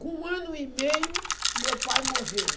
Com um ano e meio, meu pai morreu.